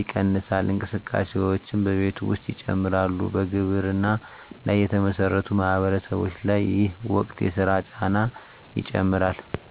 ይቀንሳል፣ እንቅስቃሴዎችም በቤት ውስጥ ይጨምራሉ በግብርና ላይ የተመሠረቱ ማህበረሰቦች ላይ ይህ ወቅት የሥራ ጫና ይጨምራል